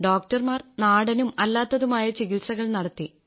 ഡോക്ടർമാർ നാടനും അല്ലാത്തതുമായ ചികിത്സകൾ നടത്തി